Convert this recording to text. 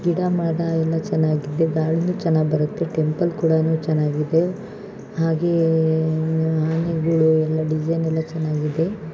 ಗಿಡ ಮರ ಎಲ್ಲಾ ಚೆನ್ನಾಗಿದೆ ಗಾಳಿನು ಚೆನ್ನಾಗಿ ಬರುತ್ತೆ ಟೆಂಪಲ್ ಕೂಡನು ಚೆನ್ನಾಗಿದೆ ಹಾಗೇ ಆನೆಗುಳು ಎಲ್ಲ ಡಿಸೈನ್ ಎಲ್ಲ ಚೆನ್ನಾಗಿದೆ.